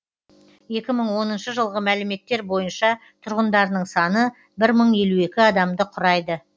екі мың оныншы жылғы мәліметтер бойынша тұрғындарының саны бір мың елу екі адамды құрайды